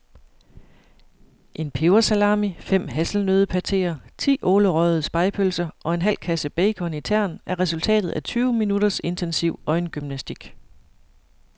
En pebersalami, fem hasselnøddepateer, ti ålerøgede spegepølser og en halv kasse bacon i tern er resultatet af tyve minutters intensiv øjengymnastik.